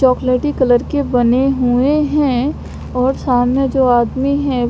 चॉकलेटी कलर बने हुए है और सामने जो आदमी है--